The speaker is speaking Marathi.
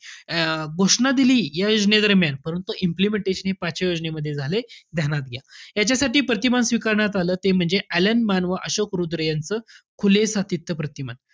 अं घोषणा दिली या योजनेदरम्यान, परंतु implementation हे पाचव्या योजनेमध्ये झालयं, ध्यान्यात घ्या. याच्यासाठी प्रतिमान स्वीकारण्यात आलं ते म्हणजे अ‍ॅलन मान व अशोक रुद्र यांचं, खुलं सातत्य प्रतिमान.